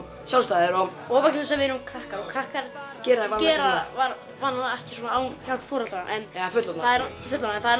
sjálfstæðir og vegna þess að við erum krakkar og krakkar gera gera vanalega ekki svona án foreldra eða fullorðinna en það er